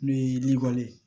N'o ye libali ye